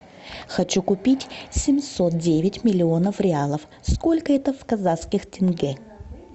хочу купить семьсот девять миллионов реалов сколько это в казахских тенге